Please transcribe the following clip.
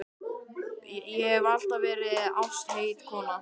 Ég hef alltaf verið ástheit kona.